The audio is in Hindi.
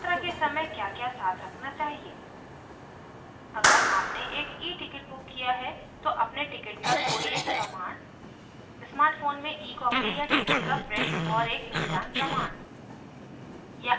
यात्रा के समय क्याक्या साथ रखना चाहिए अगर आपने एक eticket book किया है तो अपने ticket का कोई एक प्रमाण smart phone में ecopy या ticket का print और एक पहचान प्रमाण